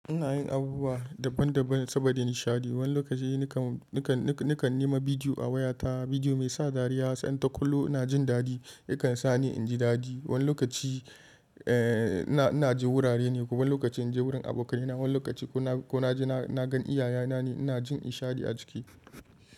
Ina yin abubuwa daban-daban saboda nishaɗi. Wani lokaci nakan nima bidiyo a wayata, bidiyo mai sa dariya, sai na ta kulo ina jin dadi. Yakan sa ni in ji dadi. Wani lokaci inna je wurare ne kuma wani lokaci in je wurin abokaina, wani lokaci ko na je na gan iyaye na ne ina jin nishaɗi a jiki.